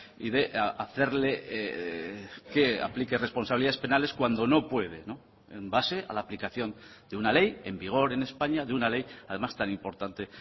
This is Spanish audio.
y de hacerle que aplique responsabilidades penales cuando no puede en base a la aplicación de una ley en vigor en españa de una ley además tan importante